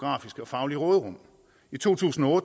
faglige råderum i to tusind og